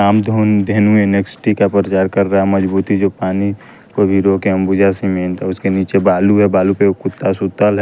कामघुन धेनु NXT का प्रचार कर रहा है मजबूती जो पानी को भी रोके अंबुजा सीमेंट उसके नीचे बालू है बालू पे कुत्ता सुतल है।